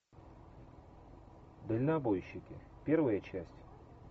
дальнобойщики первая часть